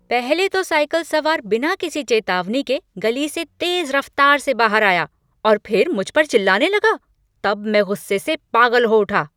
पहले तो साइकिल सवार बिना किसी चेतावनी के गली से तेज रफ्तार से बाहर आया और फिर मुझ पर चिल्लाने लगा तब मैं गुस्से से पागल हो उठा।